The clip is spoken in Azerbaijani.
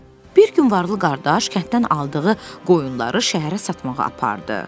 Bir gün varlı qardaş kənddən aldığı qoyunları şəhərə satmağa apardı.